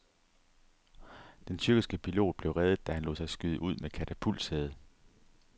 Den tyrkiske pilot blev reddet, da han lod sig skyde ud med katapultsæde.